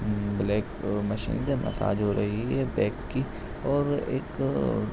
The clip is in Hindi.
ऊँ ब्लैक मशीन से मसाज हो रही है बैक की और एक --